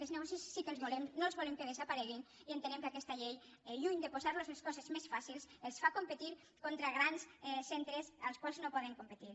aquests negocis sí que els volem no els volem que desapareguin i ente·nem que aquesta llei lluny de posar·los les coses més fàcils els fa competir contra grans centres els quals no poden competir